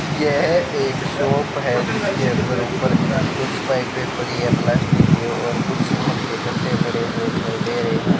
यह एक शॉप है जिसके अंदर ऊपर कुछ पाइपे पड़ी है प्लास्टिक की और कुछ सीमेंट के गट्टे पड़े हुए दिखाई दे रहे हैं।